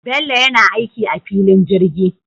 Bello yana aiki a filin jirgi